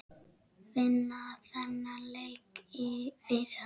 Vinna þennan leik fyrir hann!